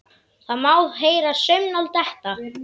Það má heyra saumnál detta.